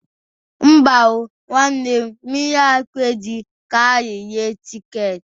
Mba o, nwanne m. Mmiri ahụ ekweghi ka anyị ree tiketi